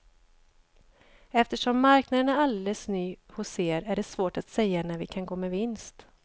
Eftersom marknaden är alldeles ny hos er är det svårt att säga när vi kan gå med vinst.